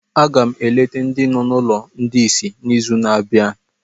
Aga m eleta ndị nọ na ụlọ ndị ìsì n'izu na-abịa